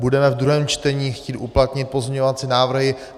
Budeme v druhém čtení chtít uplatnit pozměňovací návrhy.